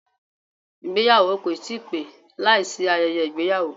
Ìgbéyàwó kò ti pé láìsí ayẹyẹ ìgbéyàwó